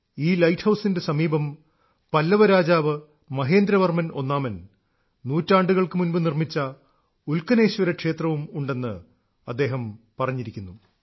ഈ ലൈറ്റ് ഹൌസിന്റെ സമീപം പല്ലവ രാജാവ് മഹേന്ദ്രവർമ്മൻ ഒന്നാമൻ നൂറ്റാണ്ടുകൾക്ക് മുൻപ് നിർമ്മിച്ച ഉൽക്കനേശ്വര ക്ഷേത്രവും ഉണ്ടെന്ന് അദ്ദേഹം പറഞ്ഞിരിക്കുന്നു